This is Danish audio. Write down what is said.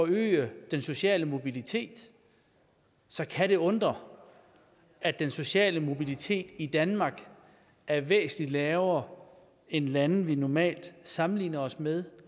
øge den sociale mobilitet så kan det undre at den sociale mobilitet i danmark er væsentlig lavere end i lande vi normalt sammenligner os med